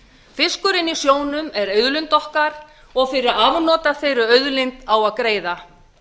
fiskurinn í sjónum er auðlind okkar og fyrir afnot af þeirri auðlind á að greiða